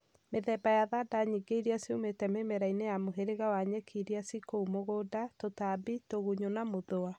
Mĩthemba ya thanda nyingĩ iria ciumĩte mĩmera-inĩ ya mũhĩrĩga wa nyeki iria ciĩ kũu mũgũnda, tũtambi, tũgunyũ na mũthũa.